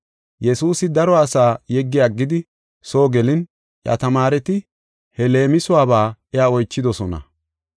Yesuusi daro asaa yeggi aggidi soo gelin iya tamaareti he leemisuwaba iya oychidosona.